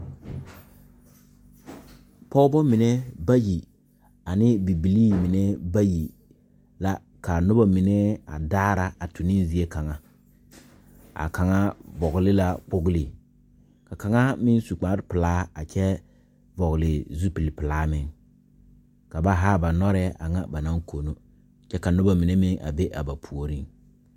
Pɔgeba mine bayi ane bibilii mine bayi la ka noba mine a daara a tu ne zie kaŋa a kaŋa vɔgle la kpogli ka kaŋa meŋ su kparepelaa a kyɛ vɔgle zupilipelaa meŋ ka ba haa ba nɔrɛɛ a ŋa ba naŋ kono kyɛ ka noba mine meŋ a be a ba puoriŋ.